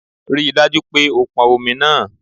Rí i dájú pé o pọn omi náà